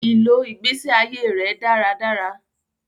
I lọ igbesi aiye rẹ dáràdárà